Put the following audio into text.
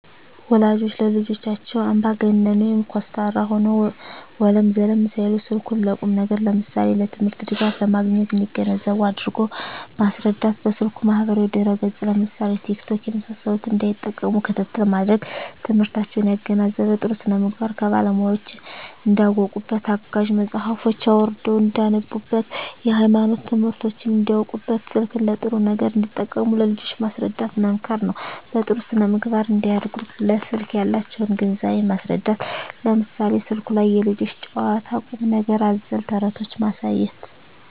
ወላጆች ለልጆቻቸው አምባገነን (ኮስታራ) ሆነው ወለም ዘለም ሳይሉ ስልኩን ለቁም ነገር ለምሳሌ ለትምህርት ድጋፍ ለማግኘት እንዲገነዘቡ አድርጎ ማስረዳት። በስልኩ ማህበራዊ ድረ ገፅ ለምሳሌ ቲክቶክ የመሳሰሉትን እንዳይጠቀሙ ክትትል ማድረግ። ትምህርታቸውን ያገናዘበ , ጥሩ ስነምግባር ከባለሙያወች እንዳውቁበት , አጋዥ መፅሀፎችን አውርደው እንዳነቡብት, የሀይማኖት ትምህርቶችን እንዳውቁበት , ስልክን ለጥሩ ነገር እንዲጠቀሙ ለልጆች ማስረዳት መምከር ነው። በጥሩ ስነ-ምግባር እንዲያድጉ ለስልክ ያላቸውን ግንዛቤ ማስረዳት ለምሳሌ ስልኩ ላይ የልጆች ጨዋታ ቁም ነገር አዘል ተረቶችን ማሳየት